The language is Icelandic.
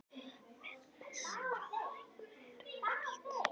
Bessi, hvaða leikir eru í kvöld?